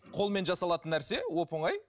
қолмен жасалатын нәрсе оп оңай